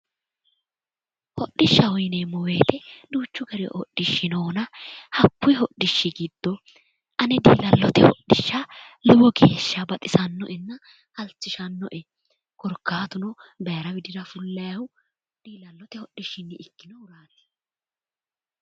hodhishshaho yineemmo wote duuchu dani hodhishshi noona hakkunni hodhishi giddo ane diilallote hodhishsha lowo geeshsha baxisannoenna halchishannoe korkaatuno baara widira fullannihu diilallote hodhishshinni ikkinohuraati.